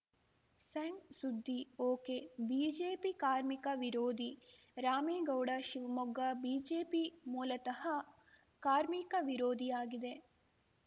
ಸಣ್‌ ಸುದ್ದಿ ಒಕೆಬಿಜೆಪಿ ಕಾರ್ಮಿಕ ವಿರೋಧಿ ರಾಮೇಗೌಡ ಶಿವಮೊಗ್ಗ ಬಿಜೆಪಿ ಮೂಲತಃ ಕಾರ್ಮಿಕ ವಿರೋಧಿಯಾಗಿದೆ